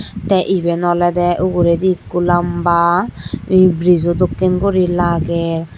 tey iben olodey uguredi ikko lamba brijo dokken guri lagey.